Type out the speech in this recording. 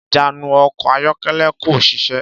Ìjánu ọkọ̀ ayọ́kẹ́lẹ́ kò ṣiṣẹ́.